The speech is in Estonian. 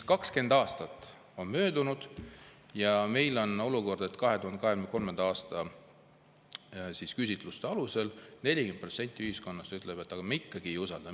20 aastat on möödunud, aga meil on olukord, et 2023. aasta küsitluste alusel 40% ühiskonnast ikkagi ei usalda.